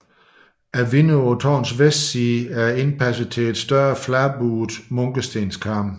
Vinduet på tårnets vestside er indpasset til en større fladbuet munkestenskarm